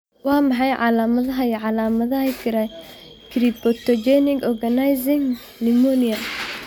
Waa maxay calaamadaha iyo calaamadaha cryptogenic organizing pneumonia?